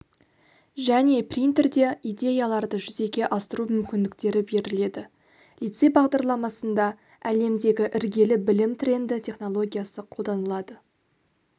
және принтерде идеяларды жүзеге асыру мүмкіндіктері беріледі лицей бағдарламасында әлемдегі іргелі білім тренді технологиясы қолданылады